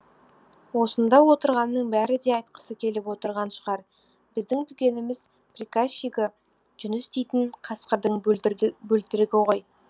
осында отырғанның бәрі де айтқысы келіп отырған шығар біздің дүкеніміздің приказчигі жүніс дейтін қасқырдың бөлтірігі ғой